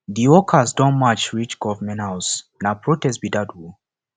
di workers don march reach government house na protest be dat o